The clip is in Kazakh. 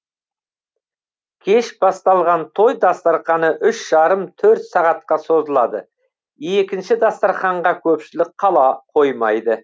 кеш басталған той дастарқаны үш жарым төрт сағатқа созылады екінші дастарқанға көпшілік қала қоймайды